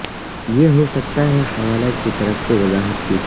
یہ ہو سکتا ہے حوالہ کی طرف سے وضاحت کی